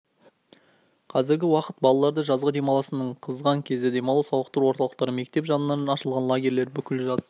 қазіргі уақыт балалардың жазғы демалысының қызған кезі демалу сауықтыру орталықтары мектеп жанынан ашылған лагерлер бүкіл жаз